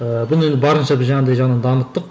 ыыы бұны енді барынша біз жаңағындай жаңағы дамыттық